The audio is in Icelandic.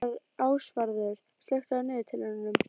Ásvarður, slökktu á niðurteljaranum.